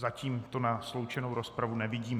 Zatím to na sloučenou rozpravu nevidím.